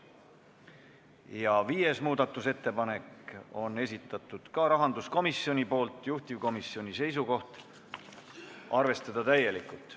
Ja viiendagi muudatusettepaneku on esitanud rahanduskomisjon, juhtivkomisjoni seisukoht: arvestada täielikult.